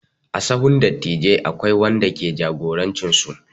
A sahun dattijai akwai wanda ke jagorancin su.